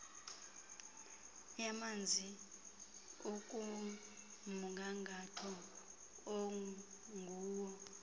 yamanzi ikumgangatho onguwo